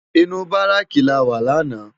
Inú báráki láwá làná